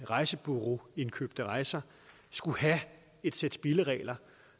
rejsebureauindkøbte rejser skulle have et sæt spilleregler